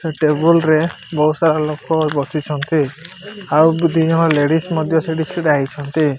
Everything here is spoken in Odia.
ସେ ଟେବୁଲ ରେ ବୋହୁତ ସାରା ଲୋକ ବସିଛନ୍ତି ଆଉ ବି ଦିଜଣ ଲେଡ଼ିସ୍ ମଧ୍ୟ ସେଇଠି ଛିଡାହେଇଛନ୍ତି।